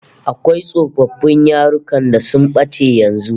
Akwai tsofaffin yarukan da sun bace yanzu